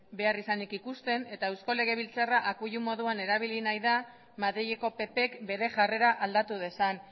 beharrizanik ikusten eta eusko legebiltzarra akuilu moduan erabili nahi da madrileko ppk bere jarrera aldatu dezan